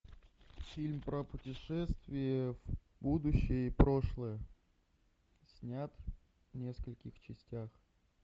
фильм про путешествие в будущее и прошлое снят в нескольких частях